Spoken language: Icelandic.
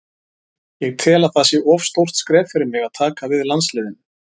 Ég tel að það sé of stórt skref fyrir mig að taka við landsliðinu.